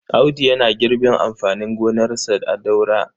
Audu yana girbin amfanin gonarsa a Daura.